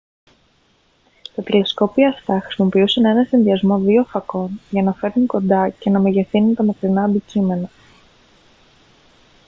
τα τηλεσκόπια αυτά χρησιμοποιούσαν έναν συνδυασμό δύο φακών για να φέρνουν κοντά και να μεγεθύνουν τα μακρινά αντικείμενα